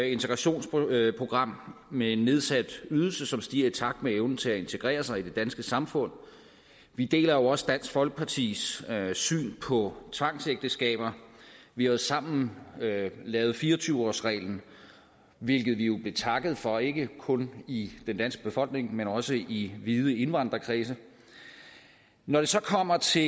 integrationsprogram med en nedsat ydelse som stiger i takt med evnen til at integrere sig i det danske samfund vi deler jo også dansk folkepartis syn på tvangsægteskaber vi har sammen lavet fire og tyve årsreglen hvilket vi jo blev takket for ikke kun i den danske befolkning men også i vide indvandrerkredse når det så kommer til